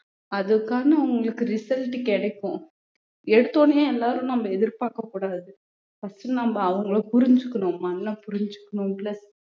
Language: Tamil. அதுக்கான உங்களுக்கு result கிடைக்கும் எடுத்த உடனே எல்லாரும் நம்ம எதிர்பார்க்கக் கூடாது first நம்ம அவங்களை புரிஞ்சுக்கணும் மண்ண புரிஞ்சுக்கணும் plus